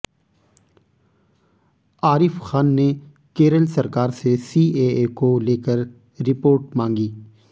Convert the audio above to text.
आरिफ खान ने केरल सरकार से सीएए को लेकर रिपोर्ट मांगी